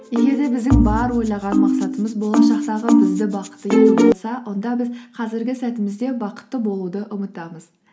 егер де біздің бар ойлаған мақсатымыз болашақтағы бізді бақытты ететін болса онда біз қазіргі сәтімізде бақытты болуды ұмытамыз